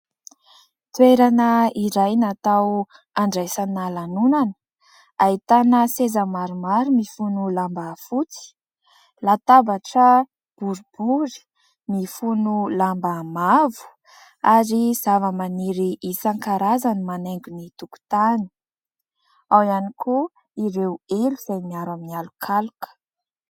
Toerana iray natao handraisana lanonana, ahitana seza maromaro mifono lamba fotsy, latabatra boribory mifono lamba mavo ary zavamaniry isankarazany manaingo ny tokotany. Ao ihany koa ireo elo izay miaro amin'ny alokaloka.